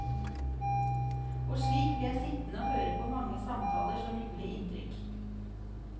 Og slik ble jeg sittende høre på mange samtaler som gjorde inntrykk.